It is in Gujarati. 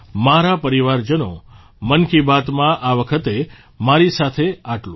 મારા પરિવારજનો મન કી બાતમાં આ વખતે મારી સાથે આટલું જ